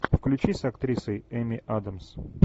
включи с актрисой эми адамс